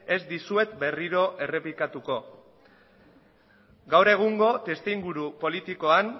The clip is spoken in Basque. ez dizuet berriro errepikatuko gaur egungo testuinguru politikoan